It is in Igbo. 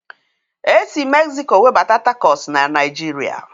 E sị Mexiko webata tacọs na Naijiria